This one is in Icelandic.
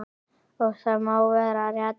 Og það má vera rétt.